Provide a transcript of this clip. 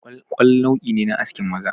Ƙwalƙwal nau'i ne na askin maza